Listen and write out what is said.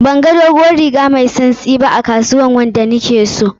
Banga dodon riga mai tsantsi ba a kasuwar wanda na ke so.